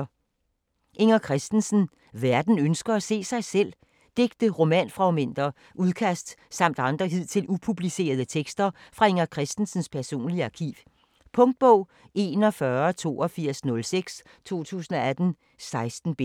Christensen, Inger: Verden ønsker at se sig selv Digte, romanfragmenter, udkast samt andre hidtil upublicerede tekster fra Inger Christensens personlige arkiv. Punktbog 418206 2018. 16 bind.